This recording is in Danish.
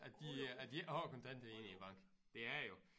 At de at de ikke har kontanter inde i æ bank det er det jo